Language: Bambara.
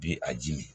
Bi a ji min